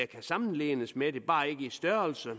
kan sammenlignes med det bare ikke i størrelse og